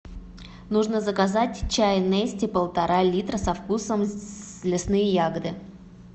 нужно заказать чай нести полтора литра со вкусом лесные ягоды